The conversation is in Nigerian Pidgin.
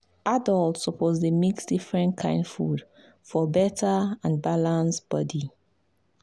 adults must dey mix different kain food for better and balance body.